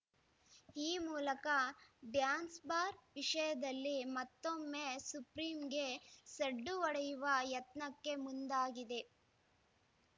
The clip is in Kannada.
ಈ ಮೂಲಕ ಡ್ಯಾನ್ಸ್‌ ಬಾರ್‌ ವಿಷಯದಲ್ಲಿ ಮತ್ತೊಮ್ಮೆ ಸುಪ್ರೀಂಗೆ ಸಡ್ಡು ಹೊಡೆಯುವ ಯತ್ನಕ್ಕೆ ಮುಂದಾಗಿದೆ